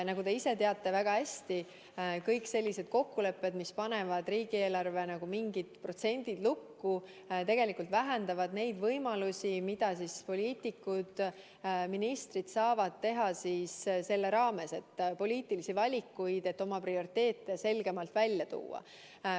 Nagu te ise väga hästi teate, kõik sellised kokkulepped, mis panevad riigieelarve mingid protsendid lukku, tegelikult vähendavad neid võimalusi, mida poliitikud, ministrid, saavad selle raames teha, poliitilisi valikuid, et oma prioriteete selgemalt välja tuua.